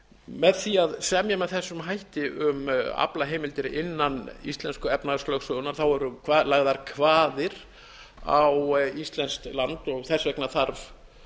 með því að semja með þessum hætti um aflaheimildir innan íslensku efnahagslögsögunnar eru lagðar kvaðir á íslenskt land og þess vegna þarf